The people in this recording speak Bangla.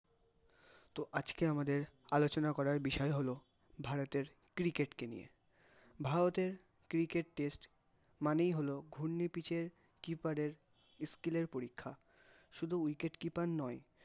তো আজকে আমাদের আলোচনা করার বিষয় হল, ভারতের cricket কে নিয়ে, ভারতের cricket test মানেই হলো, ঘূর্ণি pitch এ keeper এর skill এর পরীক্ষা, শুধু wicket keeper নয়